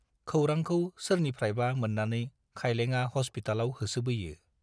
खौरांखौ सोरनिफ्रायबा मोन्नानै खाइलेंआ हस्पितालाव होसोबोयो।